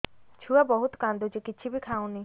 ଛୁଆ ବହୁତ୍ କାନ୍ଦୁଚି କିଛିବି ଖାଉନି